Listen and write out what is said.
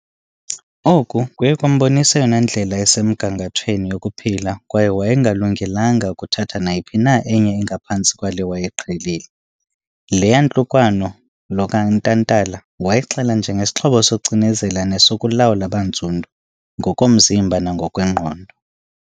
Oku kuye kwambonisa eyona ndlela isemgangathweni yokuphila kwaye wayengalungelanga kuthatha nayiphi na enye engaphantsi kwale wayeyiqhelile. Le yantlukwano lo kaNtantala wayixela njengesixhobo sokucinezela nesokulawula abantsundu, ngokomzimba nangokwengqondo.